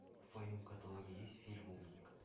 в твоем каталоге есть фильм умник